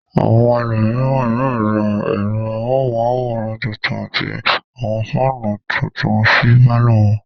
Àwọn ẹlòmíràn yóò ra ẹ̀rọ amóhùmáwòhán tuntun àti àwọn fáánù tuntub sí pálọ̀ wọn.